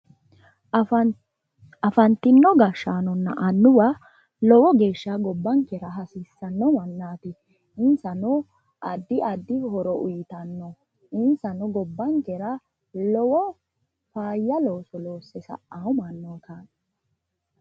Afanitino gashaanonna annuwa lowo geesha gobanikkera hasiissanno mannati insanno addi addi horro uyiitano insanno gobankera lowo faaya looso loosse sa'awo mannootaati.